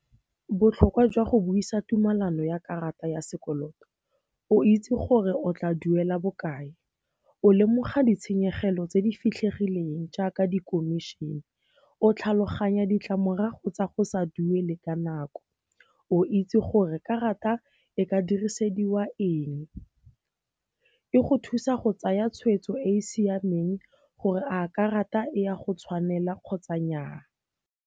Botlhokwa jwa go buisa tumalano ya karata ya sekoloto o itse gore o tla duela bokae, o lemoga ditshenyegelo tse di fitlhegileng jaaka di komišene, o tlhaloganya ditlamorago tsa go sa duele ka nako, o itse gore karata e ka dirisediwa eng. E go thusa go tsaya tshweetso e e siameng gore a karata e ya go tshwanela kgotsa nnyaa.